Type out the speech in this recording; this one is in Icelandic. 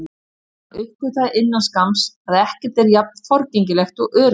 En hann uppgötvaði innan skamms að ekkert er jafn forgengilegt og öryggið.